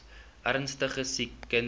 ernstige siek kinders